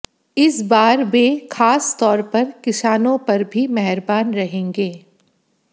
इस बार वे खास तौर पर किसानों पर भी मेहरबान रहेंगे